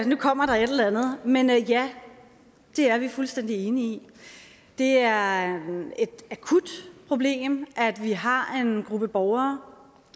nu kommer der et eller andet men ja det er vi fuldstændig enige i det er et akut problem at vi har en gruppe borgere